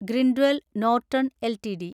Grindwell Norton LTD